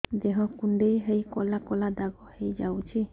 ଦେହ କୁଣ୍ଡେଇ ହେଇ କଳା କଳା ଦାଗ ହେଇଯାଉଛି